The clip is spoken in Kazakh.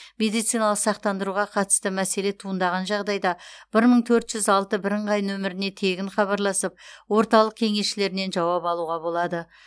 медициналық сақтандыруға қатысты мәселе туындаған жағдайда бір мың төрт жүз алты бірыңғай нөміріне тегін хабарласып орталық кеңесшілерінен жауап алуға болады